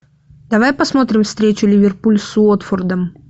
давай посмотрим встречу ливерпуль с уотфордом